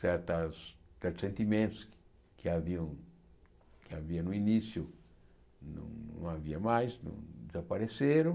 Certas certos sentimentos que haviam que havia no início não havia mais, desapareceram.